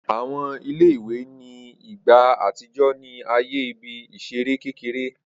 Awọn ìle-ìwe ni igba atijọ ni aaye ibi-iṣere kekere.